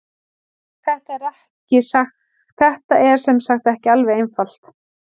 Þetta er sem sagt ekki alveg einfalt.